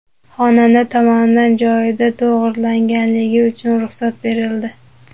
Xonanda tomonidan joyida to‘g‘rilanganligi uchun ruxsat berildi.